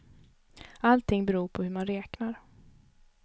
Allting beror på hur man räknar.